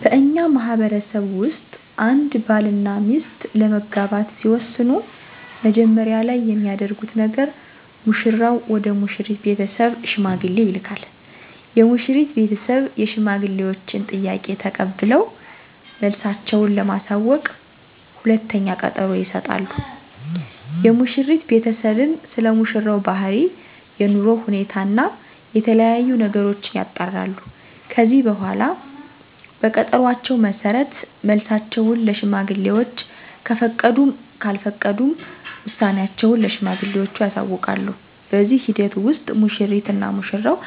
በእኛ ማህበረሰብ ውስጥ አንድ ባል እና ሚስት ለመጋባት ሲወስኑ መጀመሪያ ላይ የሚያደርጉት ነገር ሙሽራው ወደ ሙሽሪት ቤተሰብ ሽማግሌ ይልካል። የሙሽሪት ቤተሰብ የሽማግሌወችን ጥያቄ ተቀብለው መልሳቸው ለማሳወቅ ሁለተኛ ቀጠሮ ይሰጣሉ። የሙሽሪት ቤተሰብም ስለሙሽራው ባህሪ፣ የኑሮ ሁኔታ እና የተለያዬ ነገሮችን ያጣራሉ። ከዚህ በኃላ በቀጠሮአቸው መሠረት መልሳቸውን ለሽማግሌወች ከፈቀዱም ካልፈቀዱም ውሳኔአቸውን ለሽማግሌወቹ ያሳውቃሉ። በዚህ ሂደት ውስጥ ሙሽሪት እና ሙሽራው